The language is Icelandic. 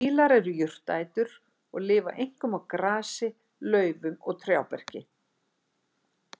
Fílar eru jurtaætur og lifa einkum á grasi, laufum og trjáberki.